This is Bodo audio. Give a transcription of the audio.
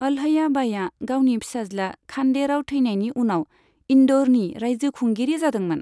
अहल्या बाईआ गावनि फिसाज्ला खान्डे राव थैनायनि उनाव इन्दौरनि राइजो खुंगिरि जादोंमोन।